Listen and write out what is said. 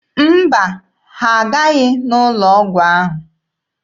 Mba, ha aghaghị n'ụlọ ọgwụ ahụ.